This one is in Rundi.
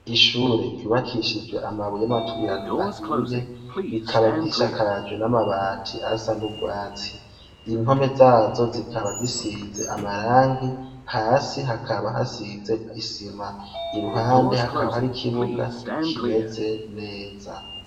Ishure ryubakishijwe amabuye y 'amaturirano ahiye rikaba gishakajwe n'amabati asa n'ugwatsi impome zazo zikaba zisize amarangi hasi hakaba hasize isima iruhande hakaba hari kibuga kimeze neza.